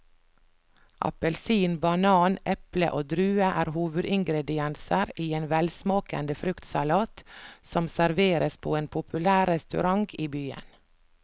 Appelsin, banan, eple og druer er hovedingredienser i en velsmakende fruktsalat som serveres på en populær restaurant i byen.